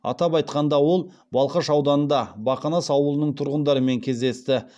атап айтқанда ол балқаш ауданында бақанас ауылының тұрғындарымен кездесті